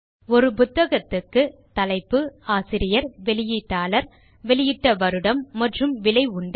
ஒரு புத்தகத்துக்கு தலைப்பு ஆசிரியர் வெளியீட்டாளர் வெளியிட்ட வருடம் மற்றும் விலை உண்டு